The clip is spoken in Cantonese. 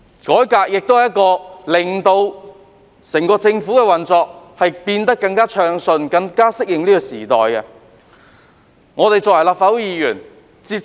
改革可以令整個政府的運作更暢順，更能適應時代需要。